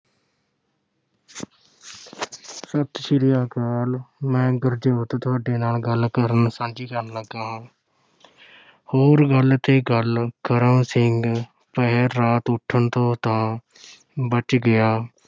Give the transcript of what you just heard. ਸਤਿ ਸ੍ਰੀ ਅਕਾਲ, ਮੈਂ ਗੁਰਜੋਤ ਤੁਹਾਡੇ ਨਾਲ ਗੱਲ ਕਰਨ ਸਾਂਝੀ ਕਰਨ ਲੱਗਾ ਹਾਂ ਹੋਰ ਗੱਲ ਤੇ ਗੱਲ, ਕਰਮ ਸਿੰਘ ਪਹਿਰ ਰਾਤ ਉਠਣ ਤੋਂ ਤਾਂ ਬਚ ਗਿਆ,